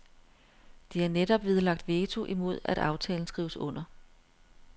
De har netop nedlagt veto imod at aftalen skrives under.